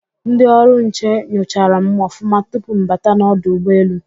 Ndị ọrụ nche nyochara m ọfụma tupu mbata n'ọdụ ụgbọ-elu.